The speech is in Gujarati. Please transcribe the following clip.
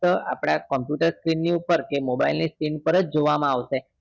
તો આપણા computer screen ની ઉપર કે mobile ની screen ઉપર જોવા માં આવશે